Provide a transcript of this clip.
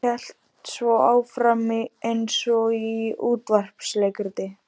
Hélt svo áfram eins og í útvarpsleikriti